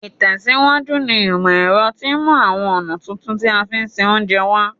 Ìtẹ̀síwájú ní ìmọ̀ ero ti mú àwon ọ̀nà tuntun ti a fi n se ounje wa